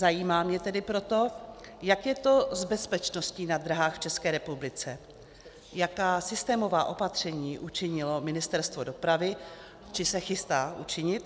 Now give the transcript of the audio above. Zajímá mě tedy proto, jak je to s bezpečností na dráhách v České republice, jaká systémová opatření učinilo Ministerstvo dopravy či se chystá učinit.